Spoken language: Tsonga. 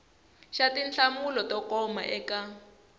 xa tinhlamulo to koma eka